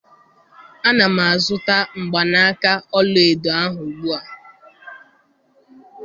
Ana m azụta mgbanaka ọla edo ahụ ugbu a